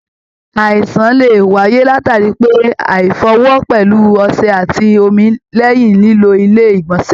Àìsàn lè wáyé latari pé aifọ ọwọ pẹlú ọsẹ àti omi lẹyìn lilo ilé igbọnsẹ.